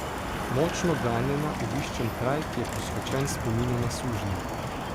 Močno ganjena obiščem kraj, ki je posvečen spominu na sužnje.